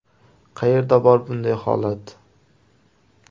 Qayerda bor bunday holat?